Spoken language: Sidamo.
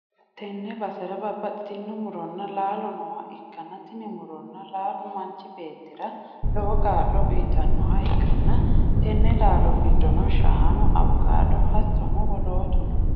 tenne basera babbaxxitino muronna laalo nooha ikkanna, tini muronna laalo manchi beettira lowo kaa'lo uytannoha ikkanna, tenne laallo giddonni shaanu, awukaado hattono wolootu no.